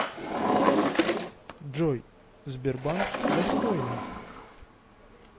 джой сбербанк достойный